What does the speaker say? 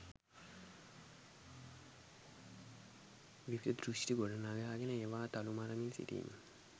විවිධ දෘෂ්ටි ගොඩනගාගෙන ඒවා තලු මරමින් සිටීම